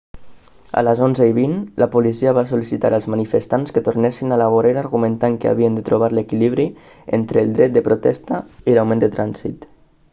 a les 11:20 la policia va sol·licitar als manifestants que tornessin a la vorera argumentant que havien de trobar l'equilibri entre el dret de protesta i l'augment del trànsit